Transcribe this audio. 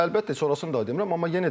Əlbəttə, sonrasını da demirəm.